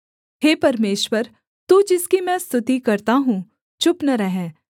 हे परमेश्वर तू जिसकी मैं स्तुति करता हूँ चुप न रह